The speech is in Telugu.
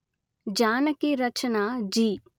జానకి రచన జి